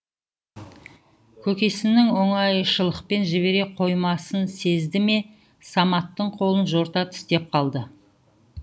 көкесінің оңайшылықпен жібере қоймасын сезді ме саматтың қолын жорта тістеп қалды